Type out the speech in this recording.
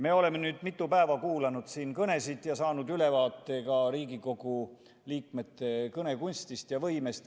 Me oleme nüüd mitu päeva kuulanud siin kõnesid ja saanud ülevaate ka Riigikogu liikmete kõnekunstist ja -võimest.